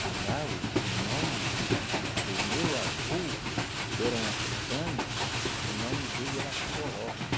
Que lá o o nome do do meu avô, que era um africano, o nome dele era coroca.